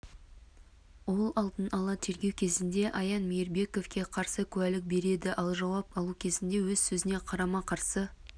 ол алдын-ала тергеу кезінде аян мейрбековке қарсы куәлік береді ал жауап алу кезінде өз сөзіне қарама-қарсы